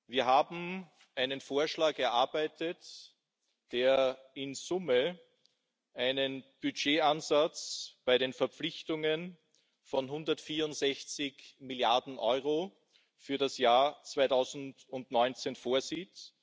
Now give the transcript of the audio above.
Wir haben einen Vorschlag erarbeitet, der in Summe einen Budgetansatz bei den Verpflichtungen von 164 Milliarden Euro für das Jahr 2019 vorsieht.